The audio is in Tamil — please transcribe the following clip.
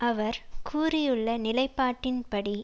அவர் கூறியுள்ள நிலைப்பாட்டின்படி